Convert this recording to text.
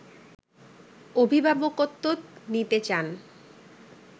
অভিভাবকত্ব নিতে চান